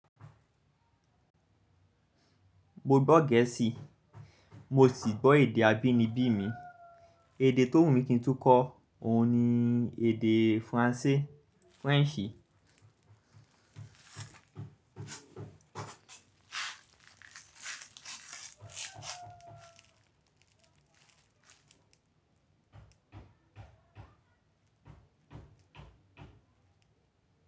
Mo gbọ́ Gẹ̀ẹ́sì, mo sì gbọ́ èdè abínibí mi. Èdè tó wù mí kí n túkọ́ òun ni èdè Faransé, French.